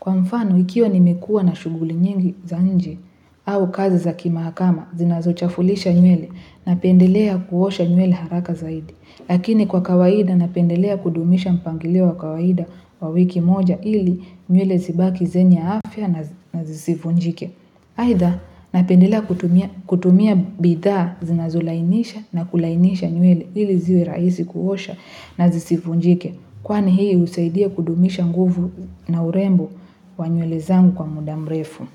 Kwa mfano, ikiwa nimekua na shughuli nyingi za nje au kazi za kimahakama, zinazochafulisha nywele napendelea kuosha nywele haraka zaidi. Lakini kwa kawaida napendelea kudumisha mpangilio wa kawaida wa wiki moja ili nywele zibaki zenye afya na zisivunjike. Aidha napendelea kutumia bidhaa zinazolainisha na kulainisha nywele ili ziwe rahisi kuosha na zisivunjike. Kwani hii husaidia kudumisha nguvu na urembo wa nywele zangu kwa mudamrefu.